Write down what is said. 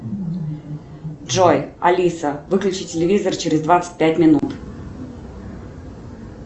джой алиса выключи телевизор через двадцать пять минут